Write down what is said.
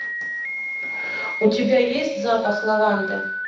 у тебя есть запах лаванды